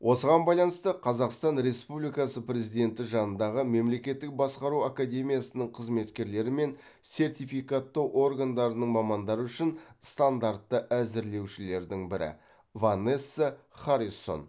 осыған байланысты қазақстан республикасы президенті жанындағы мемлекеттік басқару академиясының қызметкерлері мен сертификаттау органдарының мамандары үшін стандартты әзірлеушілердің бірі ванесса харрисон